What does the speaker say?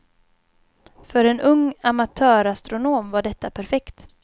För en ung amatörastronom var detta perfekt.